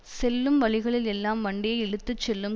செல்லும் வழிகளில் எல்லாம் வண்டியை இழுத்து செல்லும்